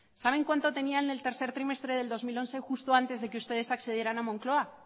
saben cuánto tenía en el tercer trimestre del dos mil once justo antes de que ustedes accedieran a moncloa